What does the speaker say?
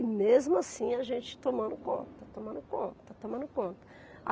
E mesmo assim, a gente tomando conta, tomando conta, tomando conta.